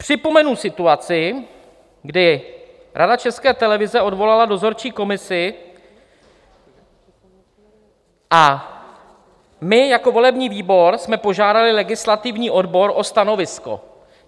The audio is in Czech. Připomenu situaci, kdy Rada České televize odvolala dozorčí komisi a my jako volební výbor jsme požádali legislativní odbor o stanovisko.